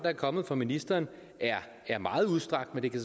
er kommet fra ministeren er meget udstrakt men det kan